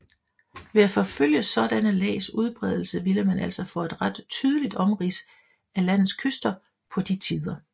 Ved at forfølge sådanne lags udbredelse ville man altså få et ret tydeligt omrids af landets kyster på de tider